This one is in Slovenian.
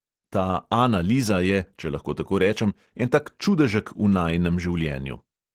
Ta ana liza je, če lahko tako rečem, en tak čudežek v najinem življenju.